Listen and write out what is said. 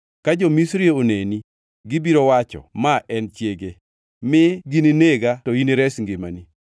Ka jo-Misri oneni, gibiro wacho, ‘Ma en chiege.’ Mi gininega to inires ngimani.